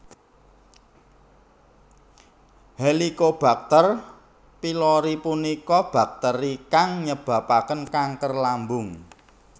Helicobacter Pylori punika bakteri kang nyebabaken kanker lambung